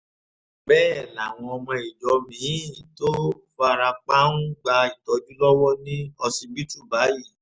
bẹ́ẹ̀ làwọn ọmọ ìjọ mi-ín tó fara pa ń gba ìtọ́jú lọ́wọ́ ní ọsibítù báyìí